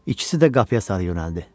İkisi də qapıya sarı yönəldi.